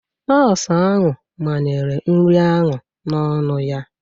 Nọọsụ ahụ manyere nri ahụ n'ọnụ ya.